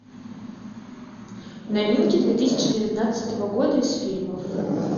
новинки две тысячи девятнадцатого года из фильмов